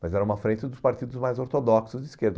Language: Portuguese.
Mas era uma frente dos partidos mais ortodoxos de esquerda.